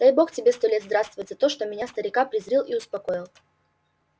дай бог тебе сто лет здравствовать за то что меня старика призрил и успокоил